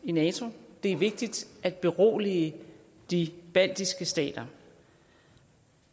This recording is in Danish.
i nato det er vigtigt at berolige de baltiske stater